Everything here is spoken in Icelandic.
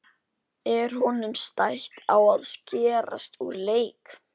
Er honum stætt á að skerast úr leik?